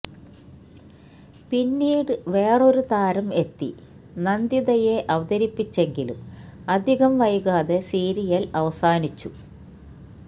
പിന്നീട് വേറൊരു താരം എത്തി നന്ദിതയെ അവതരിപ്പിച്ചെങ്കിലും അധികം വൈകാതെ സീരിയല് അവസാനിച്ചു